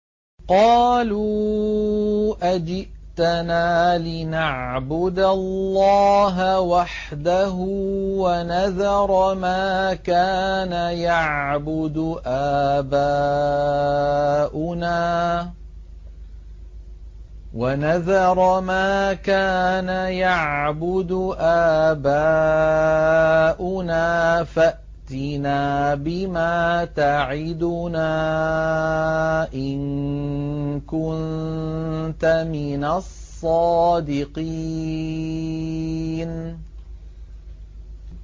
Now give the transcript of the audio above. قَالُوا أَجِئْتَنَا لِنَعْبُدَ اللَّهَ وَحْدَهُ وَنَذَرَ مَا كَانَ يَعْبُدُ آبَاؤُنَا ۖ فَأْتِنَا بِمَا تَعِدُنَا إِن كُنتَ مِنَ الصَّادِقِينَ